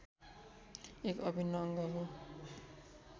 एक अभिन्न अङ्ग हो